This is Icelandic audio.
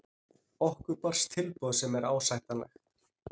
Okkur barst tilboð sem er ásættanlegt.